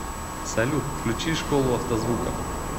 салют включи школу автозвука